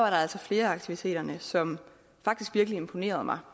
altså flere af aktiviteterne som faktisk virkelig imponerede mig